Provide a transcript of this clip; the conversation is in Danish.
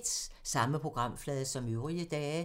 Samme programflade som øvrige dage